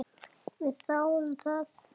Við þáðum það.